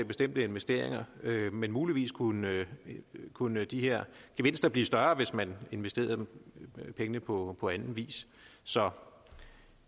bestemte investeringer men muligvis kunne kunne de her gevinster blive større hvis man investerede pengene på på anden vis så